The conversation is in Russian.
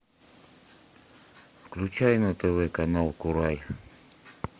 включай на тв канал курай